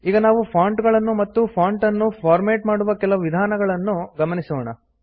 ಈಗ ನಾವು ಫಾಂಟ್ ಗಳನ್ನು ಮತ್ತು ಫಾಂಟ್ ಅನ್ನು ಫಾರ್ಮ್ಯಾಟ್ ಮಾಡುವ ಕೆಲವು ವಿಧಾನಗಳನ್ನು ಗಮನಿಸೋಣ